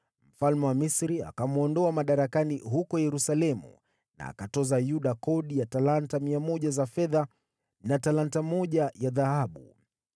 Mfalme wa Misri akamwondoa madarakani huko Yerusalemu na akatoza Yuda kodi ya talanta 100 za fedha na talanta moja ya dhahabu.